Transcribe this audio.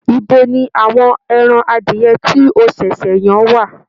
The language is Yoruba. Ibo ni àwọn ẹran adìyẹ tí o ṣẹ̀ṣẹ̀ yan wà?